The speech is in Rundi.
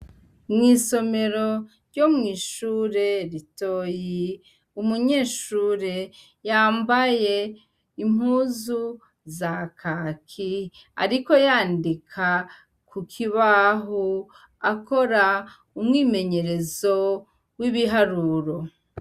Mw'isomero ryo mw'ishure ritoyi umunyeshure yambaye impuzu za kaki, ariko yandika ku kibahu akora umwimenyerezo w'ibiharuro.